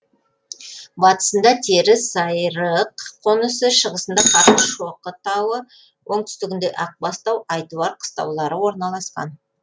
батысында терісайрық қонысы шығысында қарашоқы тауы оңтүстігінде ақбастау айтуар қыстаулары орналасқан